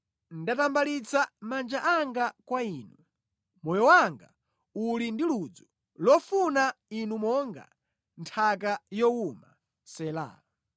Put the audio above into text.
Ndatambalitsa manja anga kwa Inu; moyo wanga uli ndi ludzu lofuna Inu monga nthaka yowuma. Sela